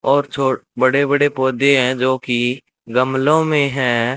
और छोड़ बड़े बड़े पौधे हैं जो की गमलों में है।